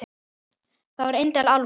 Það er indæl álfa.